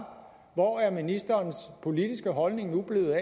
hvor er ministerens politiske holdning nu blevet